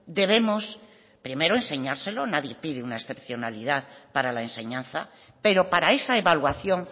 debemos primero enseñárselo nadie pide una excepcionalidad para la enseñanza pero para esa evaluación